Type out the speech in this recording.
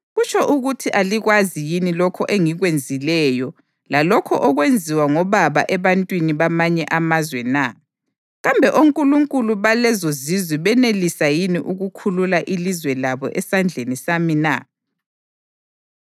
Kutsho ukuthi alikwazi yini lokho engikwenzileyo lalokho okwenziwa ngobaba ebantwini bamanye amazwe na? Kambe onkulunkulu balezozizwe benelisa yini ukukhulula ilizwe labo esandleni sami na?